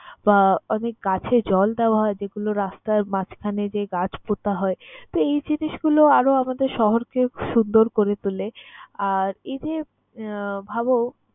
বা অনেক গাছে জল দেওয়া হয় যেগুলো রাস্তার মাঝখানে যে গাছ পোতা হয়। তো, এই জিনিসগুলো আরো আমাদের শহরকে সুন্দর করে তোলে আর, এই যে আহ ভাবো